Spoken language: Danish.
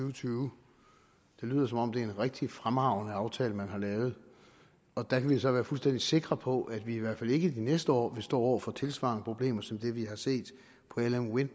og tyve det lyder som om det er en rigtig fremragende aftale man har lavet og da kan vi så være fuldstændig sikre på at vi i hvert fald ikke i de næste år vil stå over for tilsvarende problemer som vi har set på lm wind